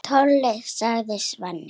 Hann Tolli, sagði Svenni.